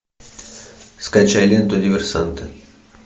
скачай ленту диверсанты